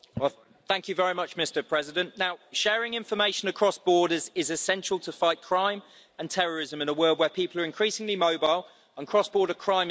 Mr President, sharing information across borders is essential to fight crime and terrorism in a world where people are increasingly mobile and cross border crime is on the rise.